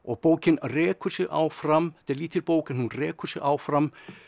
bókin rekur sig áfram þetta er lítil bók en hún rekur sig áfram